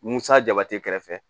Musa jaba tɛ kɛrɛfɛ